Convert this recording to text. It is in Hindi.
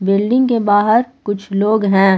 बिल्डिंग के बाहर कुछ लोग हैं।